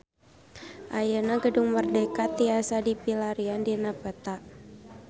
Ayeuna Gedung Merdeka tiasa dipilarian dina peta